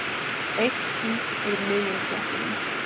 Eitt ský yfir miðjum klettinum.